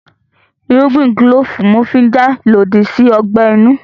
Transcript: Irúgbìn kílòfù ní wọ́n fi n jà lòdì sí ọgbẹ́ inú